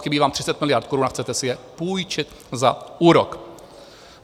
Chybí vám 30 miliard korun a chcete si je půjčit za úrok.